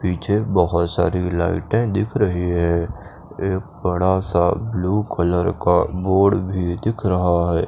पीछे बोहोत सारी लाइटे दिख रही है एक बड़ा सा ब्लू कलर का बोर्ड भी दिख रहा है।